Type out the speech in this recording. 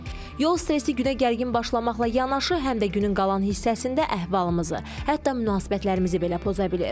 Yol stresi günə gərgin başlamaqla yanaşı, həm də günün qalan hissəsində əhvalımızı, hətta münasibətlərimizi belə poza bilir.